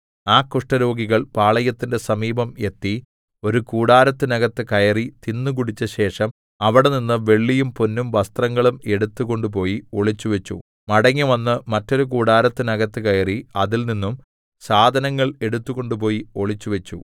ആ കുഷ്ഠരോഗികൾ പാളയത്തിന്റെ സമീപം എത്തി ഒരു കൂടാരത്തിനകത്ത് കയറി തിന്നുകുടിച്ചശേഷം അവിടെനിന്ന് വെള്ളിയും പൊന്നും വസ്ത്രങ്ങളും എടുത്തുകൊണ്ടുപോയി ഒളിച്ചുവെച്ചു മടങ്ങിവന്ന് മറ്റൊരു കൂടാരത്തിനകത്ത് കയറി അതിൽനിന്നും സാധനങ്ങൾ എടുത്തുകൊണ്ടുപോയി ഒളിച്ചുവച്ചു